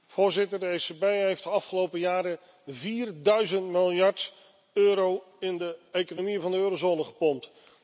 Voorzitter, de ECB heeft de afgelopen jaren vierduizend miljard euro in de economie van de eurozone gepompt.